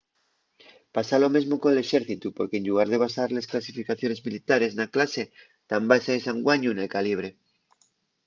pasa lo mesmo col exércitu porque en llugar de basar les clasificaciones militares na clase tán basaes anguaño nel calibre